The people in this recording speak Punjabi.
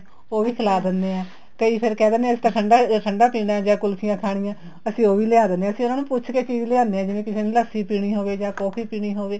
ਉਹ ਵੀ ਖਲਾ ਦਿੰਨੇ ਹਾਂ ਕਈ ਫ਼ੇਰ ਕਹਿ ਦਿੰਨੇ ਏ ਅਸੀਂ ਤਾਂ ਠੰਡਾ ਠੰਡਾ ਪੀਣਾ ਜਾਂ ਕੁਲਫੀਆਂ ਖਾਣੀਆਂ ਤੇ ਅਸੀਂ ਉਹ ਵੀ ਲਿਆਂ ਦਿੰਨੇ ਹਾਂ ਅਸੀਂ ਉਹਨਾ ਨੂੰ ਪੁੱਛ ਕੇ ਚੀਜ਼ ਲਿਆਣੇ ਹਾਂ ਜਿਵੇਂ ਕਿਸੇ ਨੇ ਲੱਸੀ ਪੀਣੀ ਹੋਵੇ ਜਾਂ coffee ਪੀਣੀ ਹੋਵੇ